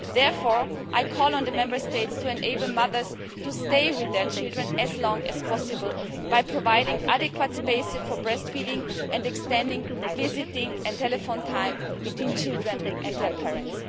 Therefore, I call on the Member States to enable mothers to stay with their children as long as possible by providing adequate spaces for breastfeeding and extending visiting and telephone time between children and their parents.